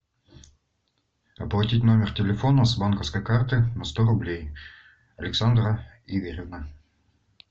оплатить номер телефона с банковской карты на сто рублей александра игоревна